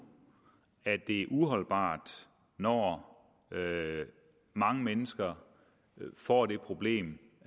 at det er uholdbart når mange mennesker får det problem